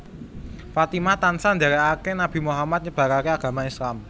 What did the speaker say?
Fatimah tansah ndèrèkaké Nabi Muhammad nyebaraké agama Islam